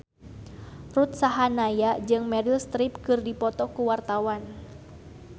Ruth Sahanaya jeung Meryl Streep keur dipoto ku wartawan